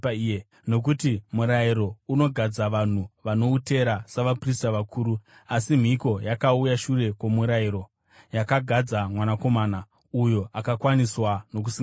Nokuti murayiro unogadza vanhu vano utera savaprista vakuru; asi mhiko yakauya shure kwomurayiro, yakagadza Mwanakomana, uyo akakwaniswa nokusingaperi.